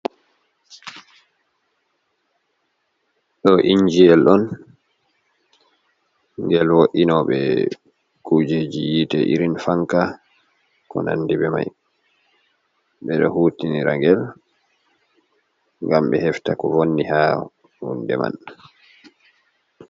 Ɗo injiyel on, ngel vo’inooɓe kujeji yiite irin fanka, ko nanndi be may, ɓe ɗo huutinira ngel, ngam ɓe hefta ko vonni haa hunde man.